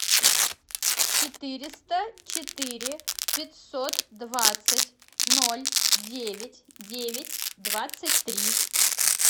четыреста четыре пятьсот двадцать ноль девять девять двадцать три